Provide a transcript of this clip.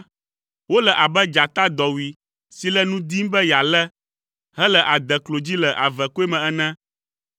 Wole abe dzata dɔwui si le nu dim be yealé, hele adeklo dzi le avekɔe me ene.